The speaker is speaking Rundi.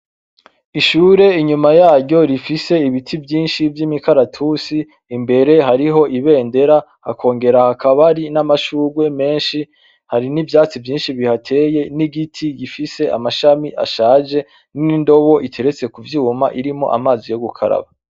Ishure inyuma yaryo rifise ibiti vyinshi vyimikaratusi , imbere yaho hari ibendera hakongera hari n'amashurwe menshi hari n'ivyatsi vyinshi bihateye nigiti gifise amashami ashaje nindobo iteretse kuvyuma irimwo amazi yo gukaraba.